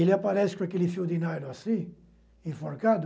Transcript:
Ele aparece com aquele fio de nylon assim, enforcado,